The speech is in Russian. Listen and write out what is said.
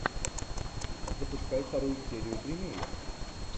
запускай вторую серию тримея